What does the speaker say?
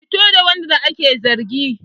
Fito da wanda ake zargi!